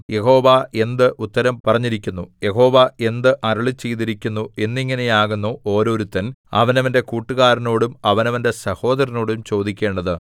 യഹോവ എന്ത് ഉത്തരം പറഞ്ഞിരിക്കുന്നു യഹോവ എന്ത് അരുളിച്ചെയ്തിരിക്കുന്നു എന്നിങ്ങനെയാകുന്നു ഒരോരുത്തൻ അവനവന്റെ കൂട്ടുകാരനോടും അവനവന്റെ സഹോദരനോടും ചോദിക്കേണ്ടത്